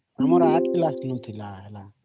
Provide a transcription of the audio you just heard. ଆମର ଆଠ କ୍ଲାସ ରୁ ଥିଲା ସେଇଟା